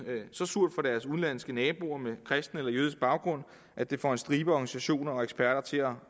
så surt for deres udenlandske naboer med kristen eller jødisk baggrund at det får en stribe organisationer og eksperter til at